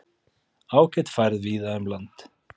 Ágæt færð víða um land